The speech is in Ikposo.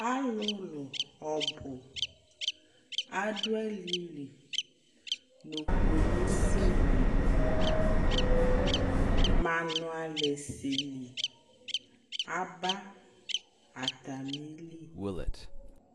Alʋlʋ ɔbʋ adʋ alɩli nʋ kpolusinɩ Manʋalɛsɛli aba atamili